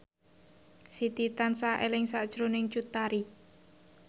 Siti tansah eling sakjroning Cut Tari